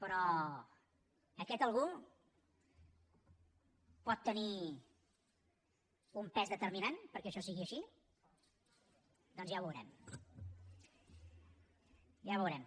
però aquest algú pot tenir un pes determinant perquè això sigui així doncs ja ho veurem ja ho veurem